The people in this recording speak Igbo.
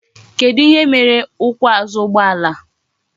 Kedu ihe mere ukwu azu ugbo ala?